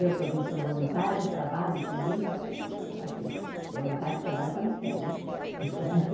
Eu também sou voluntária, trabalho também, então, assim, voluntário trabalha quando quer, né?